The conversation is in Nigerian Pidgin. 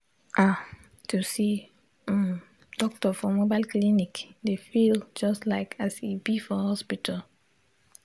ah to see um doctor for mobile clinic dey feel just like as e be for hospital.